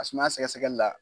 A sumaya sɛgɛsɛgɛli la